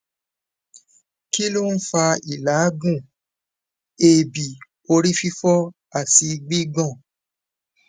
kí ló ń fa ìlaagun eebi orí fifo àti gbigbon